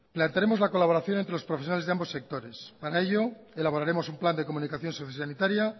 plantearemos la colaboración entre los profesionales de ambos sectores para ello elaboraremos un plan de comunicación sociosanitaria